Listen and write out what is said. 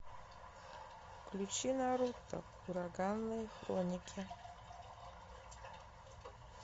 включи наруто ураганные хроники